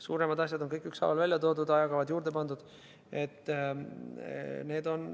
Suuremad asjad on kõik ükshaaval välja toodud, ajakavad juurde pandud.